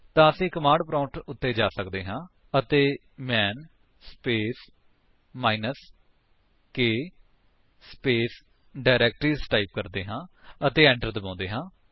ਤਾਂ ਅਸੀ command prompt ਉੱਤੇ ਜਾ ਸਕਦੇ ਹਾਂ ਅਤੇ man space minus k space directories type ਕਰਦੇ ਹਾਂ ਅਤੇ enter ਦਬਾਉਂਦੇ ਹਾਂ